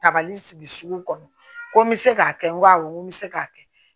Tabali sigi sugu kɔnɔ ko n bɛ se k'a kɛ n ko awɔ n ko n bɛ se k'a kɛ